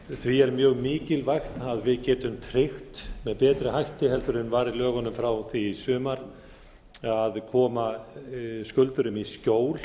því er mjög mikilvægt að við getum tryggt með betri hætti en var í lögunum frá því í sumar að koma skuldurum í skjól